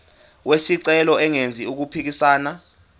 wesicelo engenzi okuphikisana